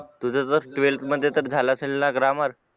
तुझं तर ट्वेल्थ मध्ये झाला असेल ना ग्रामर